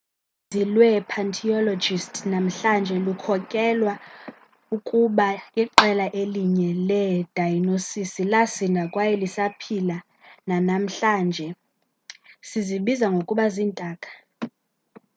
uninzi lwee-paleontologists namhlanje lukholelwa ukuba iqela elinye leedayinososi lasinda kwaye lisaphila nanamhlanje sizibiza ngokuba ziintaka